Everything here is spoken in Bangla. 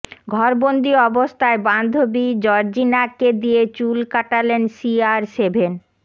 ঘরবন্দি অবস্থায় বান্ধবী জর্জিনাকে দিয়ে চুল কাটালেন সি আর সেভেন